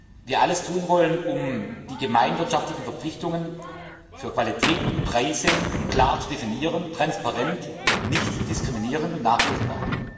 dass wir alles tun wollen, um die gemeinwirtschaftlichen Verpflichtungen für Qualität und Preise klar zu definieren transparent, nicht diskriminierend und nachprüfbar.